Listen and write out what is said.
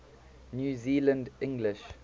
new zealand english